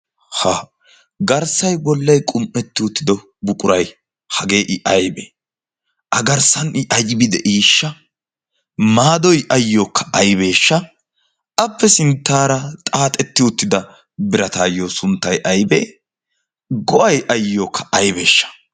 ha garssai gollai qum77etti uttido buqurai hagee i aibee? a garssan i aibi de7iishsha? maadoi ayyookka aibeeshsha appe sinttaara xaaxetti uttida birataayyo sunttai aibee? go7ai ayyookka aibeeshsha?